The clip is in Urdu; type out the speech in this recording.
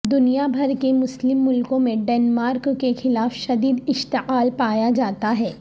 دنیا بھر کے مسلم ملکوں میں ڈنمارک کے خلاف شدید اشتعال پایا جاتاہے